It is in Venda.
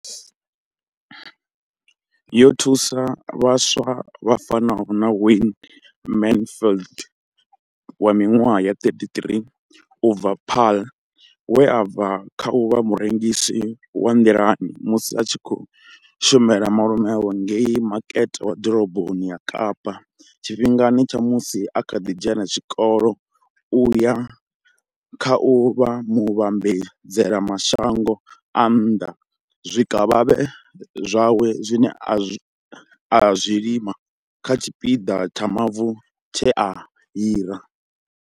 Yo thusa vhaswa vha fanaho na Wayne Mansfield wa minwaha ya 33 u bva Paarl, we a bva kha u vha murengisi wa nḓilani musi a tshi khou shumela malume awe ngei makete wa ḓoroboni ya Kapa tshifhingani tsha musi a kha ḓi dzhena tshikolo u ya kha u vha muvhambadzela mashango a nnḓa zwikavhavhe zwawe zwine a zwi lima kha tshipiḓa tsha mavu tshe a hira.